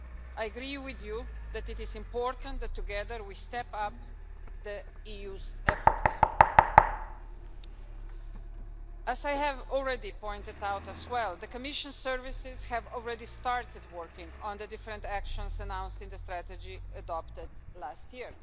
I agree with you that it is important that together we step up the EU's efforts. As I have already pointed out as well, the Commission's services have already started working on the different actions announced in the strategy adopted last year.